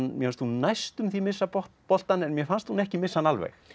mér fannst hún næstum því missa boltann en mér fannst hún ekki missa hann alveg